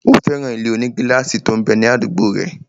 Ó fẹ́ràn ilé-onígílásì tó m bẹ ní àdúgbò rẹ̀